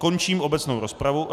Končím obecnou rozpravu...